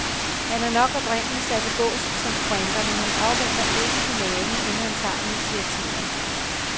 Han er nok oprindelig sat i bås som sprinter, men han afventer ikke finalen, inden han tager initiativet.